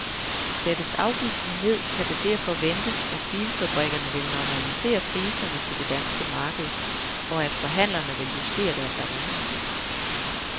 Sættes afgiften ned, kan det derfor ventes, at bilfabrikkerne vil normalisere priserne til det danske marked, og at forhandlerne vil justere deres avancer.